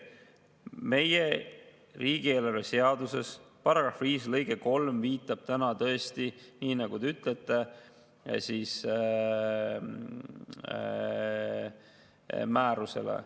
Meie riigieelarve seaduse § 5 lõige 3 viitab täna tõesti, nagu te ütlesite, määrusele.